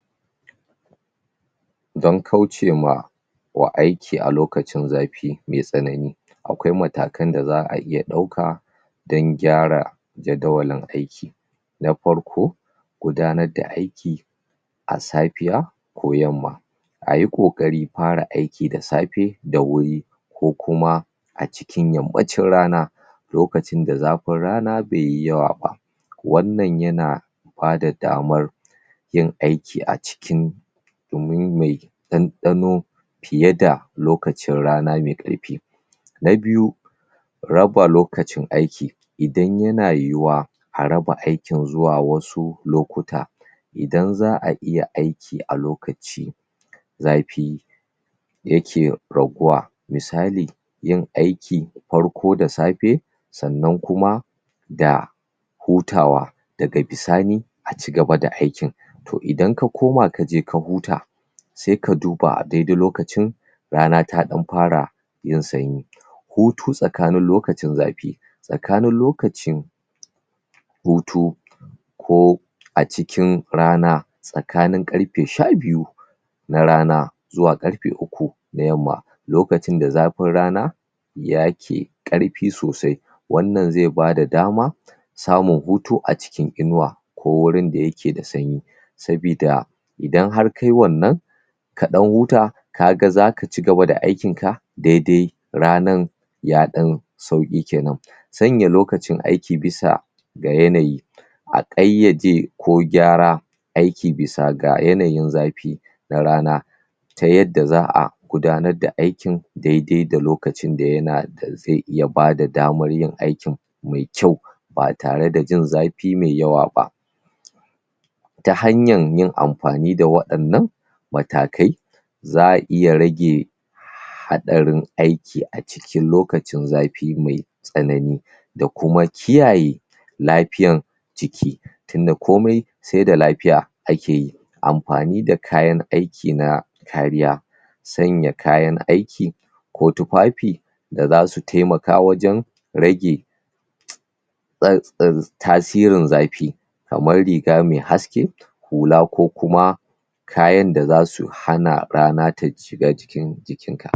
Dan kaucewa wa aiki a lokacin zafi mai tsanani akwai matakan da za'a iya ɗauka dan gyara jadawalin aiki na farko gudanar da aiki a safiya ko yamma ayi ƙoƙarin fara aiki da safe da wuri ko kuma a cikin yammacin rana lokacin da zafin rana bayyi yawa ba wannan iya na bada damar yin aiki a cikin gumi mai ɗanɗano fiye da lokacin rana mai ƙarfi na biyu raba lokacin aiki idan yana yiyuwa a raba aikin zuwa wasu lokuta idan za'a iya aiki a lokaci zafi yake raguwa misali yin aiki farko da safe sannan kuma da hutawa daga bisani a cigaba da aikin to idan ka koma kaje ka huta sai ka duba a daidai lokacin rana ta ɗan fara yin sanyi hutu tsakanin lokacin zafi tsakanin lokacin hutu ko a cikin rana tsakanin ƙarfe sha biyu na rana zuwa ƙarfe uku na yamma lokacin da zafin rana yake ƙarfi sosai wannan zai bada dama samun hutu a cikin iniwa ko wurin da yake da sanyi sabi da idan har kayi wannan ka ɗan huta, kaga zaka cigaba da aikin ka daidai ranar ya ɗan sauƙi kenan sanya lokacin aiki bisa ga yanayi a ƙayyade ko gyara aiki bisa ga yanayi zafi na rana ta yadda za'a gudananr da aikin daidai da yana da zai iya bada damar yin aikin mai kyau ba tare da jin zafi mai yawa ba ta hanyan yin amfani da waɗannan matakai za'a iya rage haɗarin aiki a cikin lokacin zafi mai tsanani da kuma kiyaye lafiyan jiki tun da komai sai da lafiya ake yi amfani da kayan aiki na kariya sanya kayan aiki ko tufafi da zasu taimaka wajan rage tsa tsa tasirin zafi kamar riga mai haske hula ko kuma kayan da zasu hana rana ta shiga cikin jikin ka